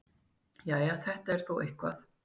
Jæja, þetta er þó eitthvað.